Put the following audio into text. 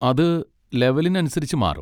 അത് ലെവെലിനനുസരിച്ച് മാറും.